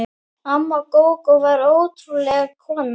Amma Gógó var ótrúleg kona.